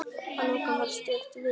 Að lokum var stutt viðtal.